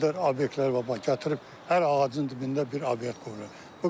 Bu qədər obyektlər var, bax gətirib hər ağacın dibində bir obyekt qoyulub.